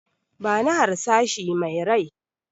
Bani harsashi me rai!